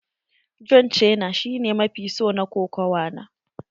John cena shi ne mafi so na kokawa na.